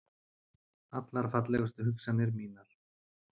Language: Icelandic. Allar fallegustu hugsanir mínar.